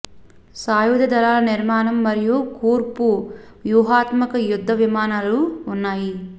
సాయుధ దళాల నిర్మాణం మరియు కూర్పు వ్యూహాత్మక యుద్ధ విమానాలు ఉన్నాయి